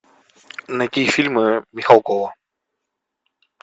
найти фильмы михалкова